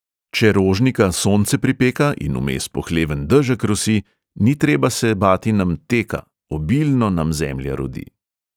Če rožnika sonce pripeka in vmes pohleven dežek rosi, ni treba se bati nam teka, obilno nam zemlja rodi.